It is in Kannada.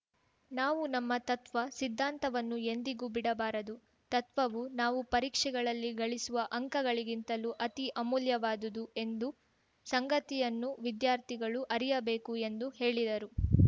ನಾವು ನಮ್ಮ ತತ್ವ ಸಿದ್ಧಾಂತವನ್ನು ಎಂದಿಗೂ ಬಿಡಬಾರದು ತತ್ವವು ನಾವು ಪರೀಕ್ಷೆಗಳಲ್ಲಿ ಗಳಿಸುವ ಅಂಕಗಳಿಗಿಂತಲೂ ಅತೀ ಅಮೂಲ್ಯವಾದುದು ಎಂದ ಸಂಗತಿಯನ್ನು ವಿದ್ಯಾರ್ಥಿಗಳು ಅರಿಯಬೇಕು ಎಂದು ಹೇಳಿದರು